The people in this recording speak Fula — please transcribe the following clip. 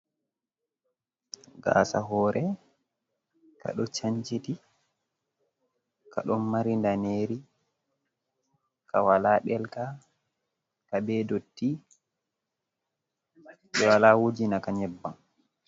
Gasa hore, kaɗo chanchiɗi. Kaɗo mari nɗaneri. Kawala ɗelka. Kaɓe ɗotti. Ɓe wala wujinaka nyebbam.